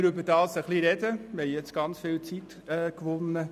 Wir haben jetzt sehr viel Zeit gewonnen.